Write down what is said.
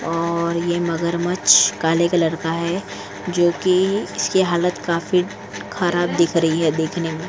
और यह मगरमच्छ काले कलर का है जो कि इसकी हालत काफी खराब दिख रही है देखने में ।